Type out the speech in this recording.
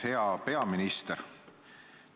Hea peaminister!